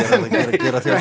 gera þér